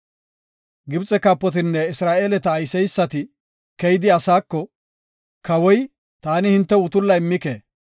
Gibxe kaapotinne Isra7eeleta oosiseysati keyidi, asaako, “Kawoy, ‘Taani hintew utulla immike.